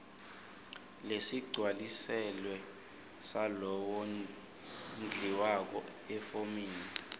lesigcwalisiwe salowondliwako efomini